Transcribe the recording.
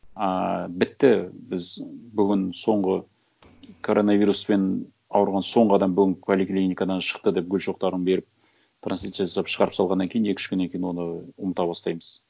ыыы бітті біз бүгін соңғы коронавируспен ауырған соңғы адам бүгін поликлиникадан шықты деп гүл шоқтарын беріп трансляция жасап шығарып салғаннан кейін екі үш күннен кейін оны ұмыта бастаймыз